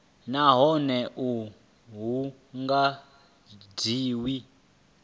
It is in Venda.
nahone a hu nga dzhiwi